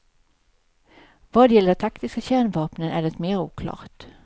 Vad gäller de taktiska kärnvapnen är det mer oklart.